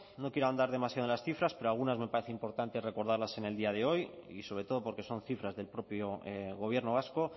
no quiero ahondar demasiado en las cifras pero algunas me parece importante recordarlas en el día de hoy y sobre todo porque son cifras del propio gobierno vasco